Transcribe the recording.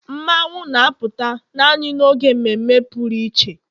Mmanwu na-apụta naanị n'oge mmeme pụrụ iche